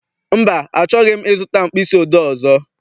Mba, achọghị m I zụta mkpịsị odee ọzọ.